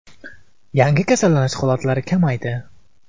Yangi kasallanish holatlari kamaydi.